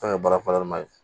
Fɛn ye baarama ye